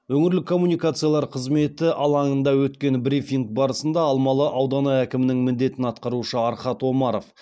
өңірлік коммуникациялар қызметі алаңында өткен брифинг барысында алмалы ауданы әкімінің міндетін атқарушы архат омаров